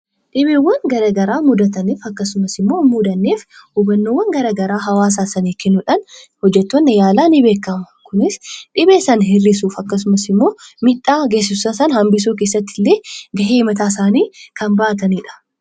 dhibeewwan gara garaa mudataniif akkasumas immoo hin mudanneef hubannoowwan garagaraa hawaasa isaaniif kennuudhaan hojjettoonni yaalaa ni beekamu. Kunis dhibee sana hir'isuuf akkasumas immoo miidhaa geessisu sana hambisuu keessatti illee ga'ee mataa isaanii kan ba'atanidha.